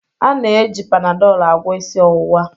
A na-eji Panadol agwọ isi ọwụwa